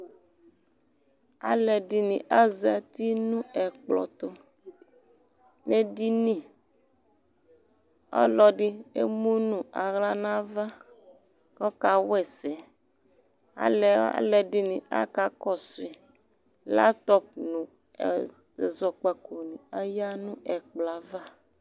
Zluɛdini azati nu ɛkplɔtu nu edini Ɔlɔdi emu nu awla nava kɔka wɛsɛ Aluɛdini aka kɔsui Ɛzoɔkpako ni ayia nɛkplɔava